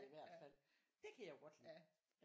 I hvert fald det kan jeg jo godt lide